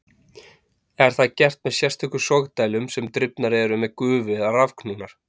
Er það gert með sérstökum sogdælum sem drifnar eru með gufu eða rafknúnar.